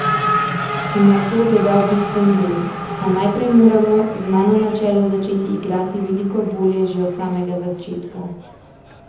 In nato dodal bistveni del: "A najprej moramo, z mano na čelu, začeti igrati veliko bolje že od samega začetka.